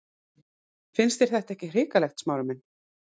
Finnst þér þetta ekki hrikalegt, Smári minn?